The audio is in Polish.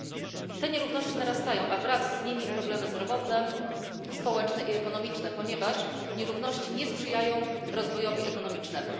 I te nierówności narastają, a wraz z nimi problemy zdrowotne, społeczne i ekonomiczne, ponieważ nierówności nie sprzyjają rozwojowi ekonomicznemu.